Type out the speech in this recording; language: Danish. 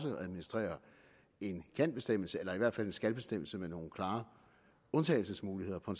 at administrere en kan bestemmelse eller i hvert fald en skal bestemmelse med nogle klare undtagelsesmuligheder på